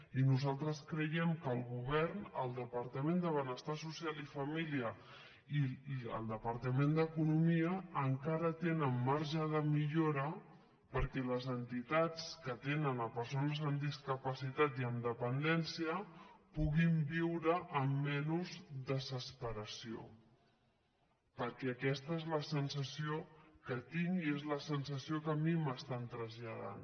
i nosaltres creiem que el govern el departament de benestar social i família i el departament d’economia encara tenen marge de millora perquè les entitats que atenen persones amb discapacitat i amb dependència puguin viure amb menys desesperació perquè aquesta és la sensació que tinc i és la sensació que a mi m’estan traslladant